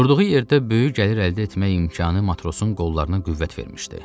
Durduğu yerdə böyük gəlir əldə etmək imkanı matrosun qollarına qüvvət vermişdi.